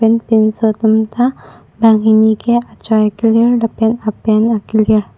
pinso tumta banghini ke achoi akelir lapen apant akelir.